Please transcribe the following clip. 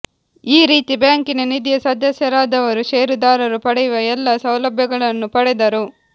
ಈ ರೀತಿ ಬ್ಯಾಂಕಿನ ನಿಧಿಯ ಸದಸ್ಯರಾದವರು ಶೇರುದಾರರು ಪಡೆಯುವ ಎಲ್ಲ ಸೌಲಭ್ಯಗಳನ್ನು ಪಡೆದರು